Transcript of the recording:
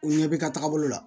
U ɲɛ bɛ ka taaga bolo la